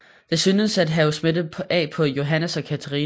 Det synes at have smittet af på Johannes og Catherina